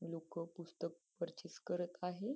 लोक पुस्तक पर्चेस करत आहे.